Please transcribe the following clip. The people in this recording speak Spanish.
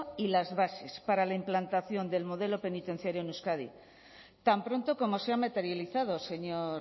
y las bases para la implantación del modelo penitenciario en euskadi tan pronto como se ha materializado señor